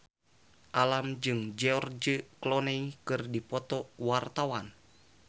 Alam jeung George Clooney keur dipoto ku wartawan